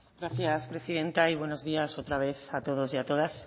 gracias presidenta y buenos días otra vez a todos y a todas